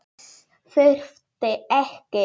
Þess þurfti ekki.